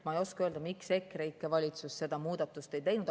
Ma ei oska öelda, miks EKREIKE valitsus seda muudatust ei teinud.